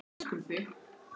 Elskum þig.